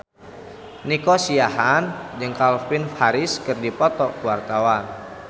Nico Siahaan jeung Calvin Harris keur dipoto ku wartawan